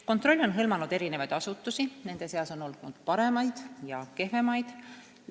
Kontroll on hõlmanud eri asutusi, nende seas on olnud paremaid ja kehvemaid.